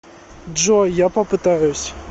джой я попытаюсь